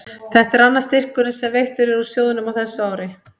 Þetta er annar styrkurinn sem veittur er úr sjóðnum á þessu ári.